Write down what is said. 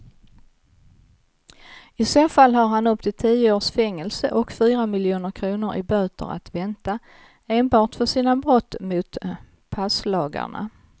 I så fall har han upp till tio års fängelse och fyra miljoner kronor i böter att vänta enbart för sina brott mot passlagarna.